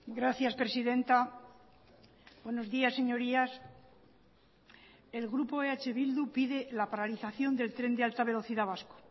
gracias presidenta buenos días señorías el grupo eh bildu pide la paralización del tren de alta velocidad vasco